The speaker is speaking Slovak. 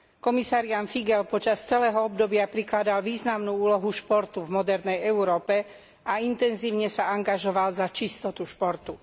Komisár Ján Figeľ počas celého obdobia prikladal významnú úlohu športu v modernej Európe a intenzívne sa angažoval za čistotu športu.